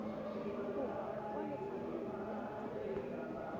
kopo kwa lefapheng la ditiro